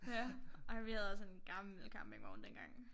Ja ej vi havde også en gammel campingvogn dengang